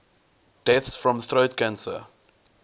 deaths from throat cancer